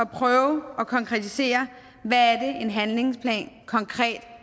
prøve at konkretisere hvad en handlingsplan konkret